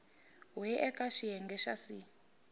we eka xiyenge xa c